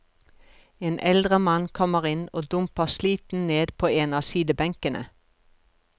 En eldre mann kommer inn og dumper sliten ned på en av sidebenkene.